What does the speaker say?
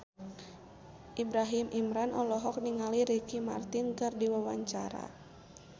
Ibrahim Imran olohok ningali Ricky Martin keur diwawancara